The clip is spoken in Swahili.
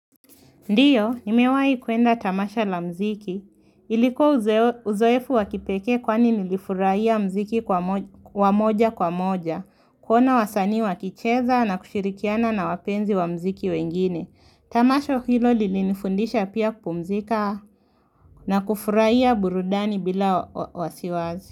Ndio, nimewai kuenda tamasha la mziki. Ilikuwa uzoefu wakipekee kwani nilifurahia mziki wamoja kwa moja. Kukna wasanii wakicheza na kushirikiana na wapenzi wa mziki wengine. Tamasha hilo lilinifundisha pia kupumzika na kufurahia burudani bila wasiwasi.